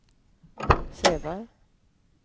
Sävar